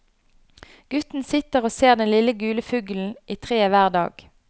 Gutten sitter og ser den lille gule fuglen i treet hver dag.